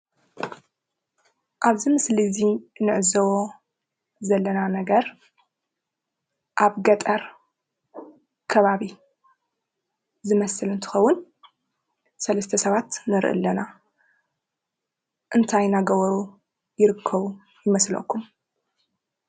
ኣብዚ ምስሊ እዚ እንዕዘቦ ዘለና ነገር ኣብ ገጠር ከባቢ ዝመስል እንትኸውን 3+ ሰባት ንሪኢ ኣለና፡፡ እንታይ እናገበሩ ይርከቡ ይመስለኩም?